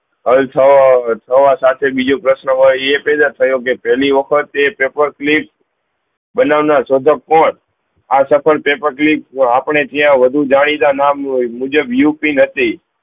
હલ થવો થવા સાથે બીજો પ્રશ્ન હોય એ પેહલા સહયોગ પેહલી વખત એ પેપર કલીપ બનાવના શોધક કોણ આ સફળ પેપર કલીપ આપને ત્યાં વધુ જાણીતા નામ નું હોય મુજબ યુપી નથી